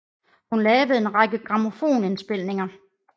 Hun lavede en lang række grammofonindspilninger